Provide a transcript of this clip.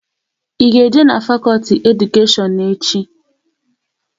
Ị ga-eje n'fakolti Edukashion echi?